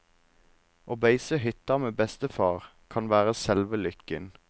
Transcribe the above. Å beise hytta med bestefar kan være selve lykken.